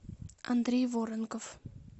андрей воронков